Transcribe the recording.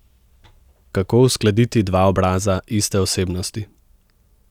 Kako uskladiti dva obraza iste osebnosti?